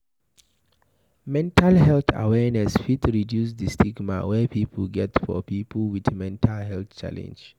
Mental health awareness fit reduce di stigma wey pipo get for pipo with mental health challenge